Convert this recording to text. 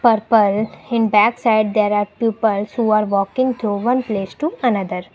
purple in back side there are peoples who are walking through one place to another.